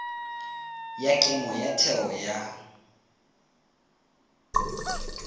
ya kemo ya theo ya